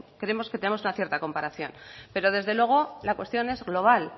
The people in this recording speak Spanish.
creemos que tenemos una cierta comparación pero desde luego la cuestión es global